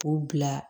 K'u bila